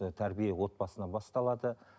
і тәрбие отбасынан басталады